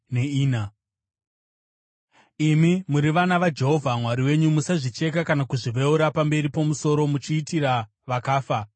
Imi muri vana vaJehovha Mwari wenyu. Musazvicheka kana kuzviveura pamberi pomusoro muchiitira vakafa,